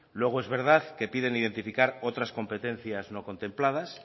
luego es verdad que piden identificar otras competencias no contempladas